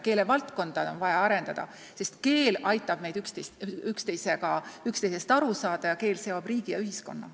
Keelevaldkonda on vaja arendada, sest keel aitab meil üksteisest aru saada ja keel seob riigi ja ühiskonna.